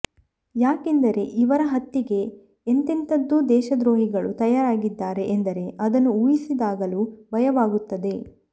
ಯಾಕೆಂದರೆ ಇವರ ಹತ್ಯೆಗೆ ಎಂಥೆಂಥದೋ ದೇಶದ್ರೋಹಿಗಳು ತಯಾರಾಗಿದ್ದಾರೆ ಎಂದರೆ ಅದನ್ನು ಊಹಿಸಿದಾಗಲೂ ಭಯವಾಗುತ್ತದೆ